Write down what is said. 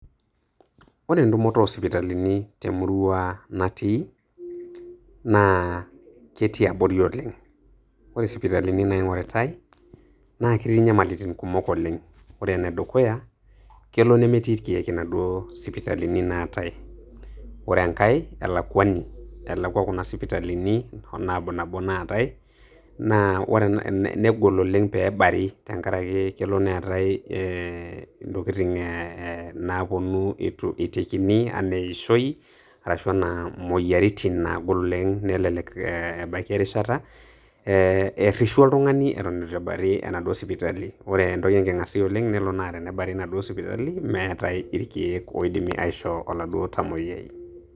Ore entumoto o sipitalini temurua natii, na ketii abori oleng'. Ore isipitalini naing'oritai, na ketii nyamalitin kumok oleng'. Ore enedukay, kelo nemtii irkeek inaduo sipitalini naatae. Ore enkae, elakwani. Elekwa kuna sipitalini nabnabo naatae na negol oleng' pe ebari tenkaraki kelo neetae eh ntokitin eh naponu eitu eitekini enaa eishoi, arashu enaa moyiaritin naagol oleng',nelelek ebaiki erishata eh errishu oltung'ani eton eitu ebari enaduo sipitali. Ore entoki enking'asia oleng',kelo naa tenebari naaduo sipitalini meetai irkeek oidimi aishoo aladuo tamoyiai.